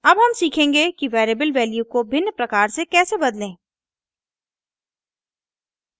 अब हम सीखेंगे कि वेरिएबल वैल्यू को भिन्न प्रकार से कैसे बदलें